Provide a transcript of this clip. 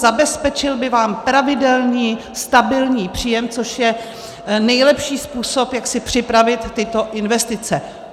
Zabezpečil by vám pravidelný, stabilní příjem, což je nejlepší způsob, jak si připravit tyto investice.